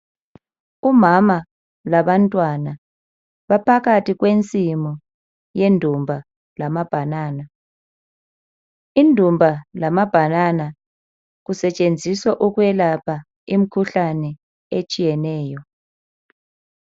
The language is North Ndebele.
Umama labantwana baphakathi kwenismu yendumba lamabhanana. Indumba lamabhanana kusetshenziswa ukwelapha imikhuhlane etshiyeneyo.